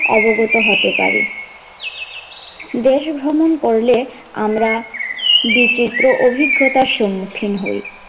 অবগত হতে পারি, দেশ ভ্রমণ করলে আমরা বিচিত্র অভিজ্ঞতার সম্মুখীন হয়।